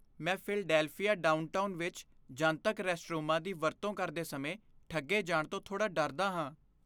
ਮੈਂ Philadelphia downtown ਵਿੱਚ ਜਨਤਕ ਰੈਸਟਰੂਮਾਂ ਦੀ ਵਰਤੋਂ ਕਰਦੇ ਸਮੇਂ ਠੱਗੇ ਜਾਣ ਤੋਂ ਥੋੜ੍ਹਾ ਡਰਦਾ ਹਾਂ।